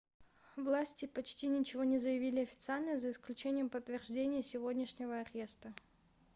власти почти ничего не заявили официально за исключением подтверждения сегодняшнего ареста